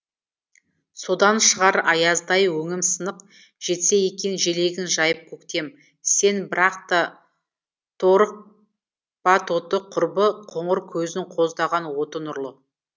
содан шығар аяздай өңім сынық жетсе екен желегін жайып көктем сен бірақ та торықпа тоты құрбы қоңыр көздің қоздаған оты нұрлы